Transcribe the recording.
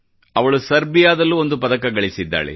ಅವಳು ಸರ್ಬಿಯಾದಲ್ಲೂ ಒಂದು ಪದಕ ಗಳಿಸಿದ್ದಾಳೆ